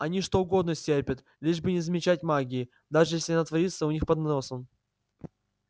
они что угодно стерпят лишь бы не замечать магии даже если она творится у них под носом